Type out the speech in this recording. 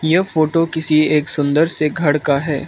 यह फोटो किसी एक सुंदर से घर का है।